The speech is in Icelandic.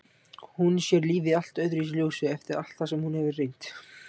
Hún sér lífið í allt öðru ljósi eftir allt það sem hún hefur reynt.